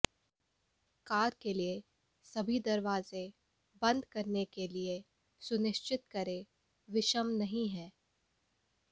car के लिए सभी दरवाजे बंद करने के लिए सुनिश्चित करें विषम नहीं है